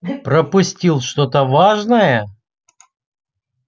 пропустил что-то важное